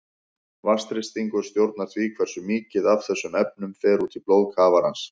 Vatnsþrýstingur stjórnar því hversu mikið af þessum efnum fer út í blóð kafarans.